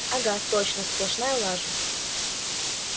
угу точно сплошная лажа